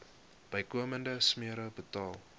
bykomende smere betaal